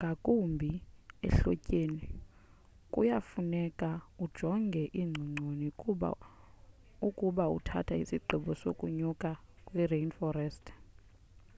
ngakumbi ehlotyeni kuya kufuneka ujonge iingcongconi ukuba uthatha isigqibo sokunyuka kwi-rainforest